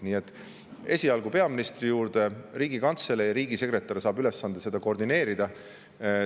Nii et esialgu peaministri juurde, Riigikantselei alla, riigisekretär saab ülesande seda koordineerida.